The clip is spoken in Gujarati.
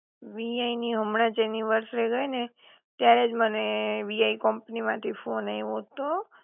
વીઆઈ ની હમણાં જ એનિવર્સરી ગઈ ને ત્યારે જ મને વીઆઈ કંપની માં થી ફોન આવો તો